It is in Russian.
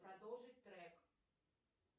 продолжить трек